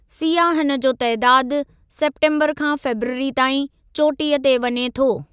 सियाहन जो तइदादु सेप्टेम्बरु खां फरवरी ताईं चोटीअ ते वञे थो।